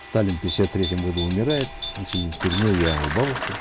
сталин в пятьдесят третьем году умирает он сидит в тюрьме я у бабушки